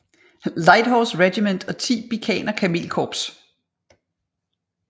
Light Horse Regiment og 10 Bikaner kamelkorps